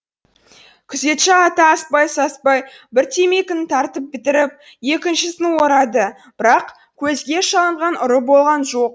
күзетші ата аспай саспай бір темекіні тартып бітіріп екіншісін орады бірақ көзге шалынған ұры болған жоқ